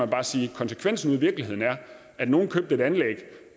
bare sige at konsekvensen ude i virkeligheden er at nogle købte et anlæg